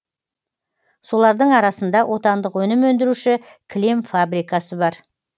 солардың арасында отандық өнім өндіруші кілем фабрикасы бар